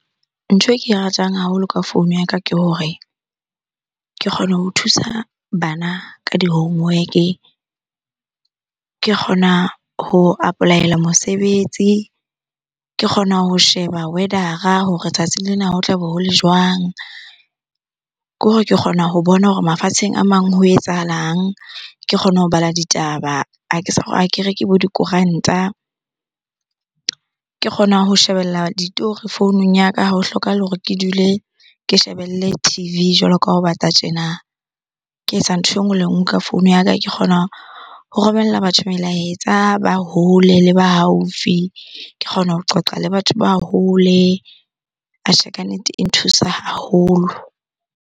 Ntho e ke e ratang haholo ka founu ya ka ke hore ke kgone ho thusa bana ka di-homework-e, ke kgona ho apply-ela mosebetsi, ke kgona ho sheba weather-ra hore tsatsing lena ho tlabe hole jwang? Ke hore ke kgona ho bona hore mafatsheng a mang ho etsahalang, ke kgona ho bala ditaba, Ha ke ha ke reke bo dikoranta, ke kgona ho shebella ditori founung ya ka. Ha ho hlokahale hore ke dule ke shebelle T_V jwalo ka ha ho bata tjena. Ke etsa ntho e nngwe le nngwe ka founu ya ka. Ke kgona ho romella batho melaetsa ba hole le ba haufi. Ke kgona ho qoqa le batho ba hole. Atjhe, kannete e nthusa haholo.